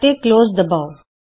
ਅਤੇ ਕਲੋਜ਼ ਦਬਾਉ